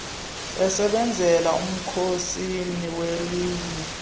esebenzela umkhosini welinye